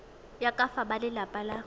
ya ka fa balelapa ba